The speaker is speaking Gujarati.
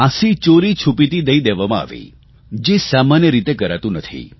ફાંસી ચોરીછુપીથી દઇ દેવામાં આવી જે સામાન્ય રીતે કરાતું નથી